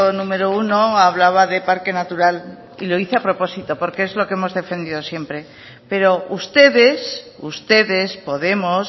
número uno hablaba de parque natural y lo hice a propósito porque es lo que hemos defendido siempre pero ustedes ustedes podemos